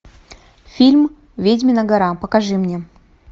фильм ведьмина гора покажи мне